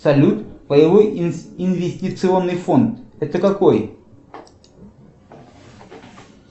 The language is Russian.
салют паевой инвестиционный фонд это какой